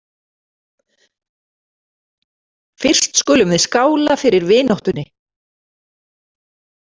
Fyrst skulum við skála fyrir vináttunni